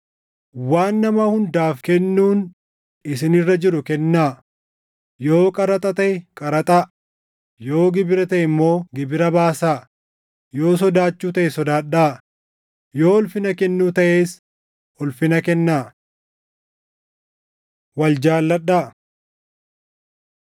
Waan nama hundaaf kennuun isin irra jiru kennaa; yoo qaraxa taʼe qaraxa, yoo gibira taʼe immoo gibira baasaa; yoo sodaachuu taʼe sodaadhaa; yoo ulfina kennuu taʼes, ulfina kennaa. Wal jaalladhaa